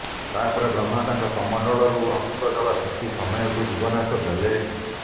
ତା ପରେ ବ୍ରହ୍ମା ତାଙ୍କ କମଣ୍ଡଳରୁ ଅମୃତ ଜଳ ସିଞ୍ଚି ସମୟକୁ ଜୀବନ୍ୟାସ ଦେଲେ